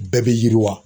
Bɛɛ bɛ yiriwa